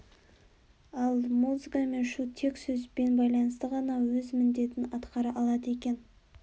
ал музыка мен шу тек сөзбен байланысты ғана өз міндетін атқара алады екен